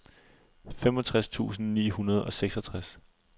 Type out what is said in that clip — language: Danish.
femogtres tusind ni hundrede og seksogtres